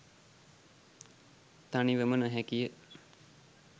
තනිවම නොහැකිය.